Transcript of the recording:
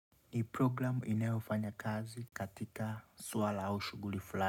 Hii programu inayofanya kazi katika swala au shuguli flani.